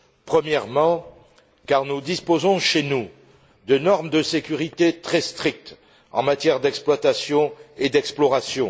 Premièrement, car nous disposons chez nous de normes de sécurité très strictes en matière d'exploitation et d'exploration.